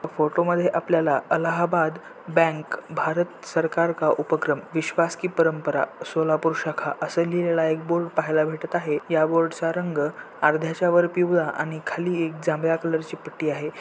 हा फोटोमध्ये आपल्याला अलाहाबाद बैंक भारत सरकार का उपक्रम विश्वास की परंपरा सोलापूर शाखा अस लिहिलेला एक बोर्ड पहायला भेटत आहे या बोर्डचा रंग अर्ध्याच्यावर पिवळा आणि खाली एक जांभळ्या कलरची एक पट्टी आहे.